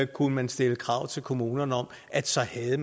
kunne man stille krav til kommunerne om at så havde